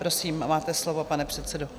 Prosím, máte slovo, pane předsedo.